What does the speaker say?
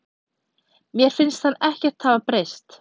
Mér finnst hann ekkert hafa breyst.